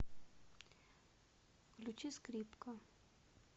включи скрипка